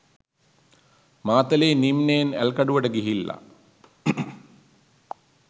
මාතලේ නිම්නයෙන් ඇල්කඩුවට ගිහිල්ල.